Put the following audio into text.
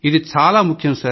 ఇది ఎంతో ముఖ్యం